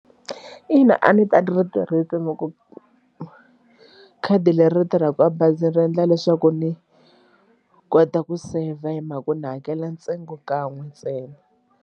Ina a ni ta ni ri tirhisa khadi leri ri tirhaka a bazi ri endla leswaku ni kota ku save hi mhaka ku ni hakela ntsengo kan'we ntsena.